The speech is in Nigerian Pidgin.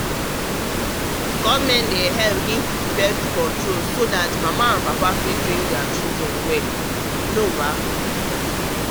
born-control wey government dey backdey help papa and mama train pikin well as part of future plans. you know baa